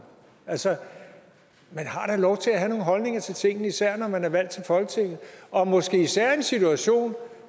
altså man har da lov til at have nogle holdninger til tingene især når man er valgt til folketinget og måske især i en situation